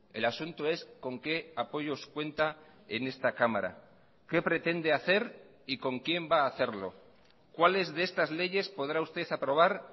el asunto es con qué apoyos cuenta en esta cámara qué pretende hacer y con quién va a hacerlo cuáles de estas leyes podrá usted aprobar